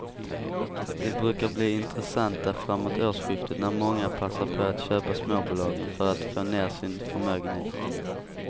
De brukar bli intressanta framåt årsskiftet när många passar på att köpa småbolagen för att få ner sin förmögenhet.